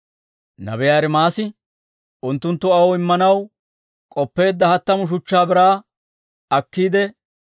Nabiyaa Ermaasi, «Unttunttu aw immanaw k'oppeedda hattamu shuchchaa biraa akkiide,